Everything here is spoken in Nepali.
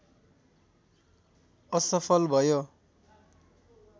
असफल भयो